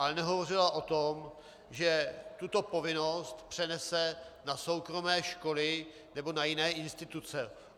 Ale nehovořila o tom, že tuto povinnost přenese na soukromé školy nebo na jiné instituce.